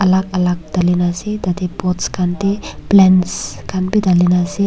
alag alag dali ni ase tarte pot khan te plants khan bhi dali kina ase.